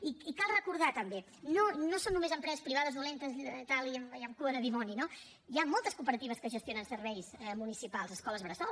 i cal recordar també no són només empreses privades dolentes i tal i amb cua de dimoni no hi ha moltes cooperatives que gestionen serveis municipals escoles bressol